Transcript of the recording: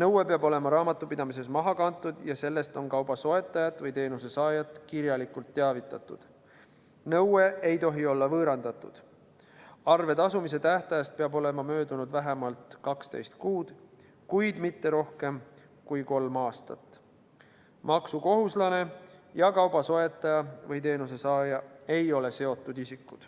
nõue peab olema raamatupidamises maha kantud ja sellest kauba soetajat või teenuse saajat kirjalikult teavitatud; nõue ei tohi olla võõrandatud; arve tasumise tähtajast peab olema möödunud vähemalt 12 kuud, kuid mitte rohkem kui kolm aastat; maksukohuslane ja kauba soetaja või teenuse saaja ei ole seotud isikud.